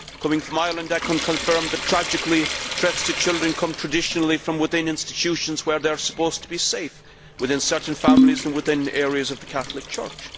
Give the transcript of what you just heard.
Coming from Ireland, I can confirm tragically that threats to children come traditionally from within institutions where they are supposed to be safe, within certain families and within certain areas of the Catholic Church.